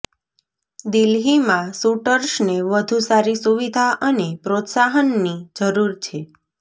દિલ્હીમાં શૂટર્સને વધુ સારી સુવિધા અને પ્રોત્સાહનની જરૂર છે